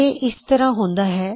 ਇਹ ਇਸ ਤਰਹ ਹੁੰਦਾ ਹੈ